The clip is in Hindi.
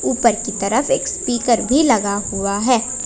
ऊपर की तरफ एक स्पीकर भी लगा हुआ है।